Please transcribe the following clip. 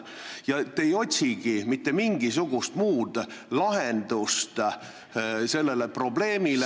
Ja te ei otsigi mitte mingisugust muud lahendust sellele probleemile ...